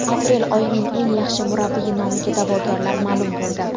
Aprel oyining eng yaxshi murabbiyi nomiga da’vogarlar ma’lum bo‘ldi.